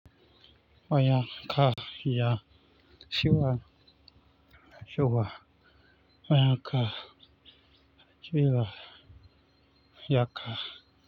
Waya ka iya ciwa shuwa waya ka ciwa ya ka.